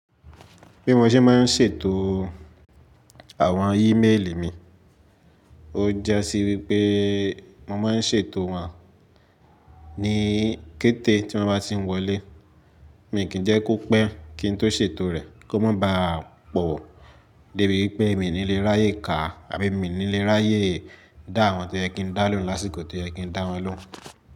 Bí mo ṣe máa ń ṣètò àwọn ímeèlì mi, ó je si wípé mo máa ń ṣètò wọn ní kété tí mo bá ti ń wọlé, mi kì n jẹ́ kó pẹ́ kí n tó ṣètò rẹ̀ kó má ba à pọ̀ débi í pé mi ní lè ráyè kà àbí mi ní lè ráyè dá àwọn to yẹ kín dá lóhùn lásìkò to yẹ kín dá wọn lóhùn.